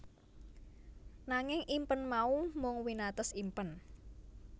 Nanging impen mau mung winates impen